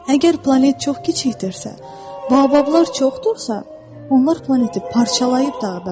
Əgər planet çox kiçikdirsə, Baobablar çoxdursa, onlar planeti parçalayıb dağılacaq.